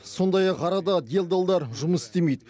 сондай ақ арада делдалдар жұмыс істемейді